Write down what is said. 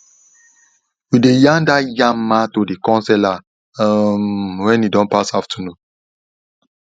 we dey yarn da yamma to the corn seller um when e don pass afternoon